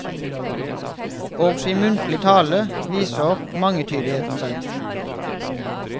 Også i muntlig tale viser mangetydighet seg.